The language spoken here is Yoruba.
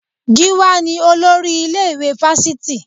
Gíwá ni olórí ilé-ìwé Fásitì